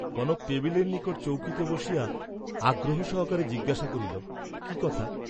কনক টেবিলের নিকট চৌকিতে বসিয়া আগ্রহ সহকারে জিজ্ঞাসা করিল কি কথা?